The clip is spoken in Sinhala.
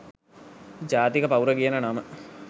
ජාතික පවුර කියන නම